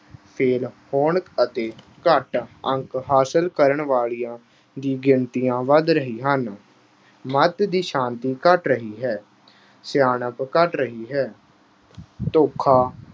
fail ਹੋਣ ਅਤੇ ਘੱਟ ਅੰਕ ਹਾਸਲ ਕਰਨ ਵਾਲੀਆਂ ਗਿਣਤੀਆਂ ਵਧ ਰਹੀਆਂ ਹਨ। ਦੀ ਸ਼ਾਂਤੀ ਘਟ ਰਹੀ ਹੈ। ਸਿਆਣਪ ਘਟ ਰਹੀ ਹੈ। ਧੋਖਾ